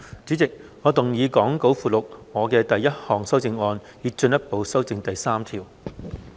主席，我動議講稿附錄我的第一項修正案，以進一步修正第3條。